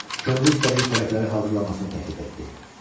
Könlü istədiyi xörəkləri hazırlamasını təklif etdi.